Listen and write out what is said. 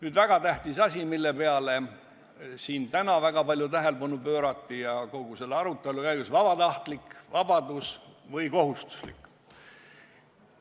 Üks väga tähtis teema, millele siin täna kogu selle aruteu käigus väga palju tähelepanu pöörati, on kogumise vabatahtlikkus või kohustuslikkus.